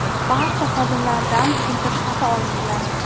Barcha xodimlardan tushuntirish xati olingan.